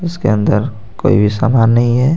इसके अंदर कोई भी समान नहीं है.